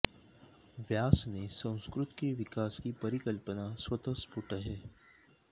व्यास ने संस्कृत के विकास की परिकल्पना स्वतः स्फुट है